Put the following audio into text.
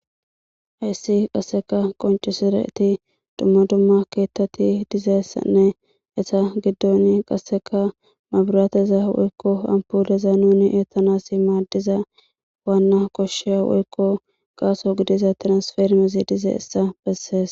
hayssi qasseka qoncesiraeti dumma dumma keettati dizessanne esa giddoni qasseka mabiraateza woykko ampuleza nuni eettanasi maaddiza waanna koshsheya woykko gaaso gidiza tiransfermezi dize essa bessees